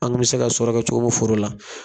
An kun mi se ka sɔrɔ kɛ cogo min foro la